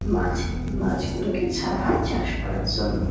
মাছ মাছগুলোকে ছাড়া হয় চাষ করার জন্য।